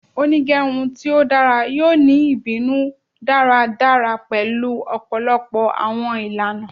Onigerun ti o dara yoo ni ibinu daradara pẹlu ọpọlọpọ awọn ilana